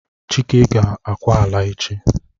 Chike ga akwa ala echi!